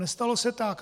Nestalo se tak.